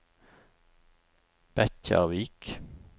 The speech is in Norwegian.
Bekkjarvik